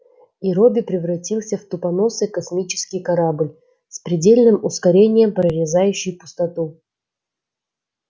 и робби превратился в тупоносый космический корабль с предельным ускорением прорезающий пустоту